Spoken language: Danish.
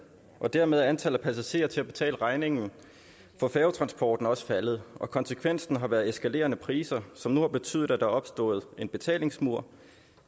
og dermed er antallet af passagerer til at betale regningen for færgetransporten også faldet konsekvensen har været eskalerende priser som nu har betydet at opstået en betalingsmur